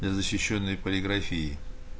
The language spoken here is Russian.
для защищённой полиграфии